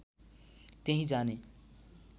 त्यहीँ जाने